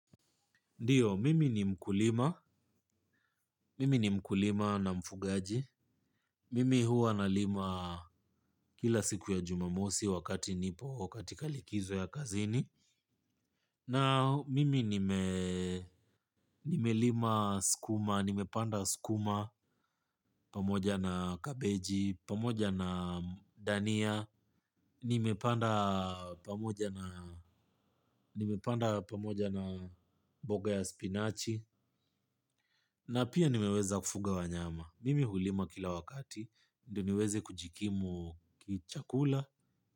Ndiyo, mimi ni mkulima, mimi ni mkulima na mfugaji, mimi hua na lima kila siku ya jumamosi wakati nipo katika likizo ya kazini, na mimi nime lima skuma, nime panda skuma pamoja na kabeji, pamoja na dania, nime panda pamoja na mboga ya spinachi, na pia nimeweza kufuga wa nyama. Mimi hulima kila wakati. Ndiniweze kujikimu kichakula.